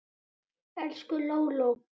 Elsku Lóló.